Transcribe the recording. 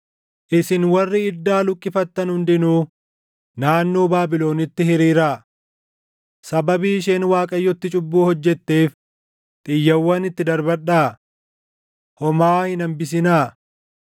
“Isin warri iddaa luqqifattan hundinuu, naannoo Baabilonitti hiriiraa. Sababii isheen Waaqayyotti cubbuu hojjetteef, xiyyawwan itti darbadhaa! Homaa hin hambisinaa.